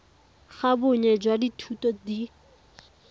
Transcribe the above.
ga bonnye jwa dithuto di